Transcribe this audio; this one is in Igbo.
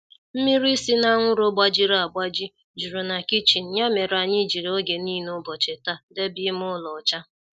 Mmịrị sị na anwụrụ gbajịrị agbajị juru na kichin ya mere anyị jiri oge nile ubochi taa debe ime ụlọ ọcha